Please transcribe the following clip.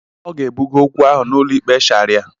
Ọ ga-ebuga okwu ahụ n'ụlọ ikpe Sharia.